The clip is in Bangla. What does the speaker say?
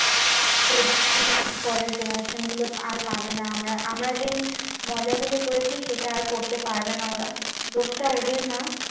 পরের generation গুলো আর পাবে না আমরা আমরা যেই মজাগুলো করেছি সেটা আর করতে পারবে না ওরা দোষটা ওদের না